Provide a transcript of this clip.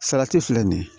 Salati filɛ nin ye